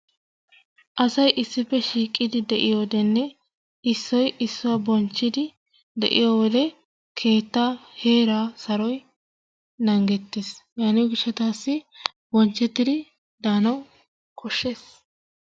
Asay issippe shiqiddi deiyowodenne issoy issuwa bonchiddi de'iyowode keetta hera saroy nangettes, yaniyo gishattassi bonchettiddi danawu koshees.